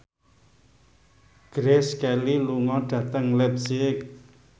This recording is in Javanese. Grace Kelly lunga dhateng leipzig